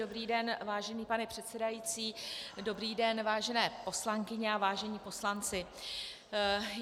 Dobrý den, vážený pane předsedající, dobrý den, vážené poslankyně a vážení poslanci.